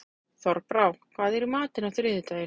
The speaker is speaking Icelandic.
Þorbrá, hvað er í matinn á þriðjudaginn?